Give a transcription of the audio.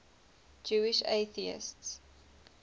jewish atheists